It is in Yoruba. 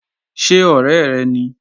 Ṣé ọ̀rẹ́ rẹ ni?